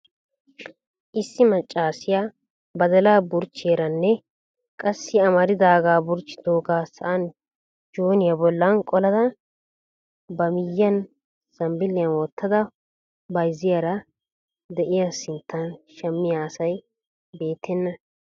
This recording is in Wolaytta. Issi maccaassiya badala burchchiyaaranne qassi amaridaaga burccidooga sa'an jooniyaa bollan qolada baei miyyiyan zambbiliyaa wottida bayzzaydda de'iyaa sinttan shammiyaa asi beettena